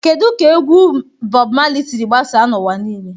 Kedu ka egwu Bob Marley siri gbasaa n'ụwa niile?